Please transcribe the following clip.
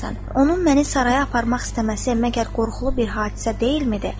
Onun məni saraya aparmaq istəməsi məgər qorxulu bir hadisə deyilmidir?